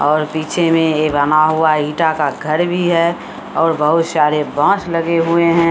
और पीछे में ए बना हुआ ईटा का घर भी है और बहुत सारे बांस लगे हुए है।